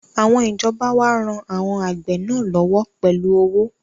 Àwọn ìjọba wá ran àwọn àgbẹ̀ náà lọ́wọ́ pẹ̀lú owó